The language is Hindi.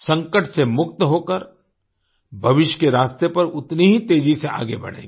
संकट से मुक्त होकर भविष्य के रास्ते पर उतनी ही तेजी से आगे बढ़ेंगे